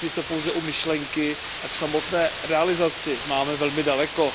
Zatím jsme pouze u myšlenky a k samotné realizaci máme velmi daleko.